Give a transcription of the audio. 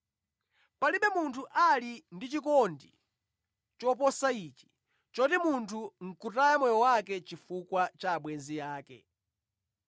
Palibe munthu ali ndi chikondi choposa ichi, choti munthu nʼkutaya moyo wake chifukwa cha abwenzi ake.